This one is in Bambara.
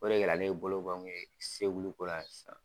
O le kɛ la ne bolo bɔ kun ye segulu ko la sisan.